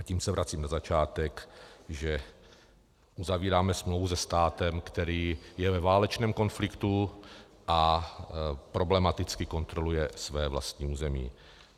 A tím se vracím na začátek, že uzavíráme smlouvu se státem, který je ve válečném konfliktu a problematicky kontroluje své vlastní území.